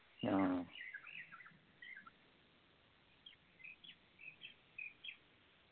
ആ